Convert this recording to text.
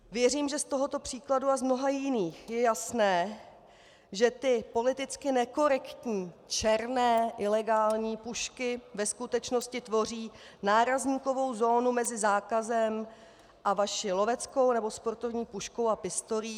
Věřím, že z tohoto příkladu a z mnoha jiných je jasné, že ty politicky nekorektní černé ilegální pušky ve skutečnosti tvoří nárazníkovou zónu mezi zákazem a vaší loveckou nebo sportovní puškou a pistolí.